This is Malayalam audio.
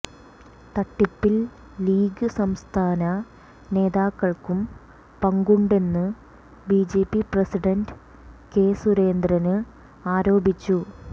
തട്ടിപ്പിൽ ലീഗ് സംസ്ഥാന നേതാക്കള്ക്കും പങ്കുണ്ടെന്ന് ബിജെപി പ്രസിഡന്റ് കെ സുരേന്ദ്രന് ആരോപിച്ചു